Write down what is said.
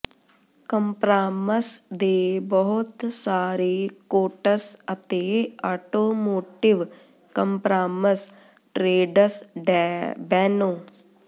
compromise ਦੇ ਬਹੁਤ ਸਾਰੇ ਕੋਟਸ ਅਤੇ ਆਟੋਮੋਟਿਵ ਕੰਪ੍ਰਾਮਸ ਟ੍ਰੇਜਸ ਡੈ ਬੈਨੋ